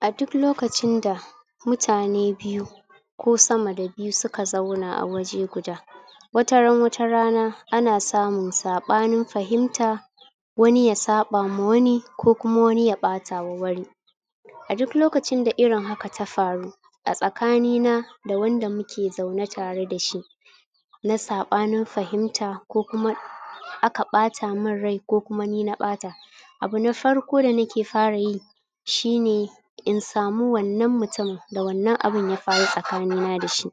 a duk lokacin da mutane biyu ko sama da biyu suka zauna a waje guda wataran watarana ana samun saɓanin fahimta wani ya saɓa wa wani ko kuma wani ya ɓatawa wani a duk lokacin da irin haka ta faru a tsakani na da wanda muke zaune tareda shi na saɓanin fahimta ko kuma aka ɓata min rai ko kuma ni na ɓata abu na farko da nake fara yi shine in samu wannan mutum da wannan abu ya faru tsakani na dashi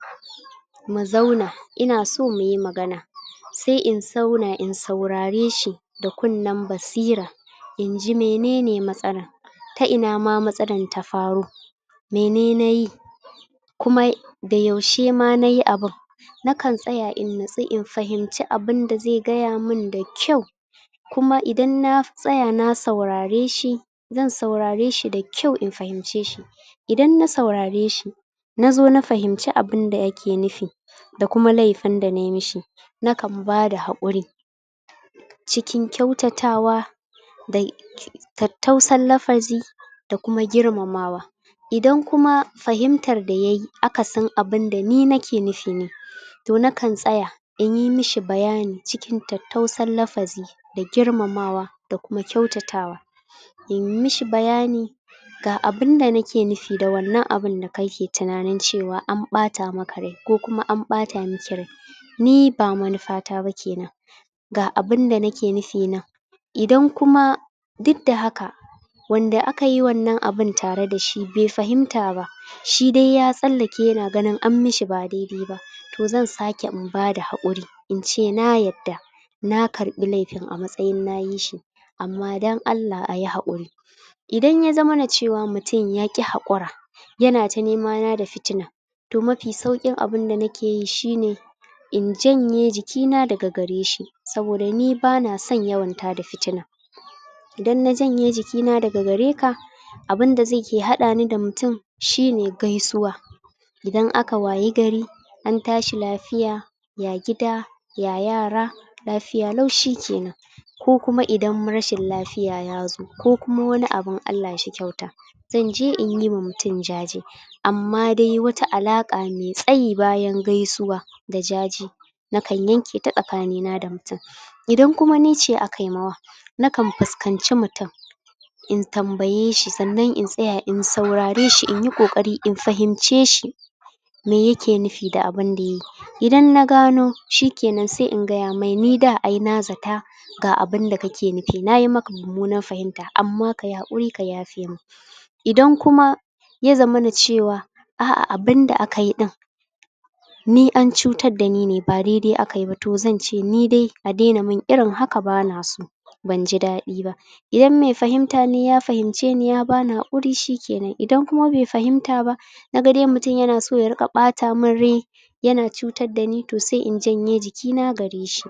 mu zauna inaso muyi magana sai in zauna in saurare shi da kunnen basira inji menene matsalar ta inama matsalar ta faro mene nayi kuma da yaushe ma nayi abun nakan tsaya in natsu fahimci abunda zai gaya min da kyau kuma idan na tsaya na saurare shi zan saurare shi da kyau in fahimce shi idan na saurare shi nazo na fahimci abunda yake nufi da kuma laifin da nayi mashi nakan bada haƙuri. cikin kyautatawa da tattausan lafazi da kuma girmama wa. idan kuma fahimtar da yayi akasin abinda ni nake nufi ne to nakan tsaya inyi mishi bayani cikin tattausan lafazi da girmamawa da kuma kyautata wa. in mishi bayani ga abunda nake nufi da wannan abun da kake tunain cewa an ɓata maka rai ko kuma an ɓata maki rai ni ba manufata ba kenan ga abunda nake nufi nan idan kuma dukda haka wanda akayi wannan abun tare dashi bai fahimta ba shidai ya tsallake yana ganin an mishi ba dai-dai ba to zan sake in bada haƙuri ince na yadda na karɓi laifin a matsayin nayi shi amma dan Allah ayi haƙuri. idan ya zamana cewa mutum yaƙi haƙura yana ta nemana da fitina to mafi sauƙin abunda nakeyi shine in janye jikina daga gare shi saboda ni bana son yawan tada fitina. idan na janye jikina daga gare ka abunda zaike haɗani da mutum shine gaisuwa idan aka wayi gari antashi lafiya ya gida ya yara lafiya lau shikenan. ko kuma idan rashin lafiya yazo ko kuma wani abun Allah shi kyauta zanje inyima mutum jaje amma dai wata alaƙa mai tsayi bayan gaisuwa da jaje nakan yanketa tsakani na da mutum idan kuma nice akayima wa nakan fuskanci mutum in tambaye shi sannan in tsaya in saurare shi inyi ƙoƙari in fahimce shi me yake nufi da abunda yayi idan na gano shikenan sai in gaya mai ni da ai na zata ga abunda kake nufi nayi maka mummunan fahimta amma kayi haƙuri ka yafe mun. idan kuma yazamana cewa a'a abunda akayi ɗin ni an cutar dani ne ba dai-dai akayi ba to zance nidai a daina min irin haka banaso banji daɗi ba idan mai fahimtane ya fahimceni ya bani haƙuri shikenan idan kuma bai fahimta ba nagadai mutum yanaso ya riƙa ɓata min rai yana cutar dani to sai in janye jikina gare shi.